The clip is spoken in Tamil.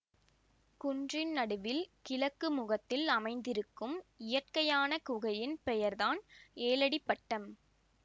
குன்றின் நடுவில் கிழக்கு முகத்தில் அமைந்திருக்கும் இயற்கையான குகையின் பெயர்தான் ஏழடிப்பட்டம்